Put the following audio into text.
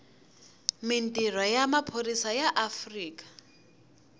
mintirho ya maphorisa ya afrika